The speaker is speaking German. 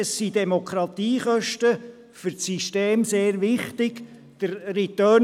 es sind Demokratiekosten, die für das System sehr wichtig sind.